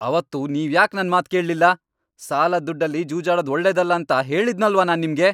ಅವತ್ತು ನೀವ್ಯಾಕ್ ನನ್ ಮಾತ್ ಕೇಳ್ಲಿಲ್ಲ? ಸಾಲದ್ ದುಡ್ಡಲ್ಲಿ ಜೂಜಾಡೋದ್ ಒಳ್ಳೇದಲ್ಲ ಅಂತ ಹೇಳಿದ್ನಲ್ವಾ ನಾನ್ ನಿಮ್ಗೆ.